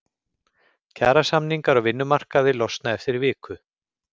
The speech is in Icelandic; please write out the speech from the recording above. Kjarasamningar á vinnumarkaði losna eftir viku